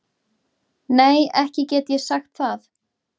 Nei ekki get ég sagt það.